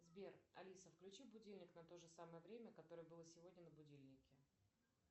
сбер алиса включи будильник на то же самое время которое было сегодня на будильнике